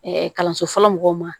kalanso fɔlɔ mɔgɔw ma